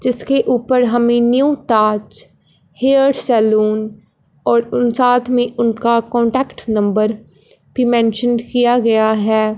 जिसके ऊपर हमें न्यू ताज हेयर सैलून और उन साथ में उनका कांटेक्ट नंबर भी मेंशंन किया गया है।